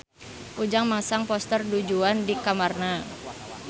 Ujang masang poster Du Juan di kamarna